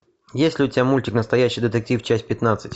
есть ли у тебя мультик настоящий детектив часть пятнадцать